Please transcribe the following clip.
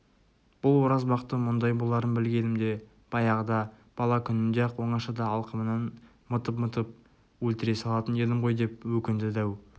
бұл оразбақты мұндай боларын білгенімде баяғыда бала күнінде-ақ оңашада алқымнан мытып-мытып өлтіре салатын едім ғой деп өкінді дәу